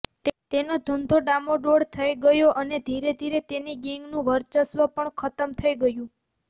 તેનો ધંધો ડામાડોળ થઈ ગયો અને ધીરેધીરે તેની ગેંગનું વર્ચસ્વ પણ ખતમ થઈ ગયું